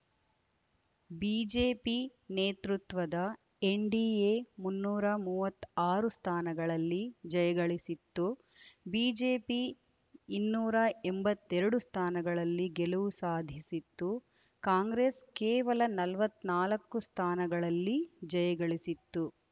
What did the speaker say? BJP ನೇತೃತ್ವದ NDA ಮುನ್ನೂರ ಮೂವತ್ತಾರು ಸ್ಥಾನಗಳಲ್ಲಿ ಜಯಗಳಿಸಿತ್ತು ಬಿಜೆಪಿ ಇನ್ನೂರ ಎಂಬತ್ತೆರಡು ಸ್ಥಾನಗಳಲ್ಲಿ ಗೆಲುವು ಸಾಧಿಸಿತ್ತು ಕಾಂಗ್ರೆಸ್ ಕೇವಲ ನಲವತ್ತ್ ನಾಲ್ಕು ಸ್ಥಾನಗಳಲ್ಲಿ ಜಯಗಳಿಸಿತ್ತು